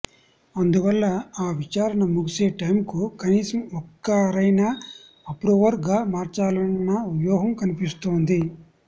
అందువల్ల ఆ విచారణ ముగిసే టైమ్ కు కనీసం ఒక్కరినయినా అప్రూవర్ గా మార్చాలన్న వ్యూహం కనిపిస్తోంది